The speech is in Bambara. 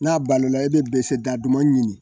N'a balola i bɛ dɛsɛ daduman ɲini